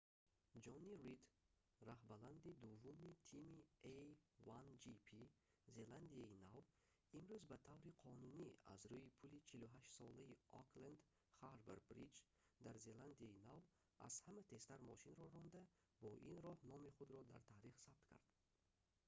ҷонни рид роҳбалади дуввуми тими a1gp зеландияи нав имрӯз ба таври қонунӣ аз рӯи пули 48-солаи окленд харбор бриҷ дар зеландияи нав аз ҳама тезтар мошинро ронда бо ин роҳ номи худро дар таърих сабт кард